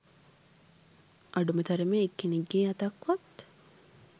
අඩුම තරමේ එක් කෙනෙක්ගේ අතක්වත්